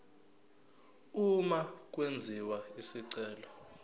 uma kwenziwa isicelo